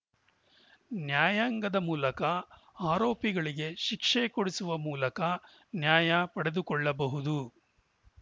ನ್ಯಾಯಾಂಗದ ಮೂಲಕ ಆರೋಪಿಗಳಿಗೆ ಶಿಕ್ಷೆ ಕೊಡಿಸುವ ಮೂಲಕ ನ್ಯಾಯ ಪಡೆದುಕೊಳ್ಳಬಹುದು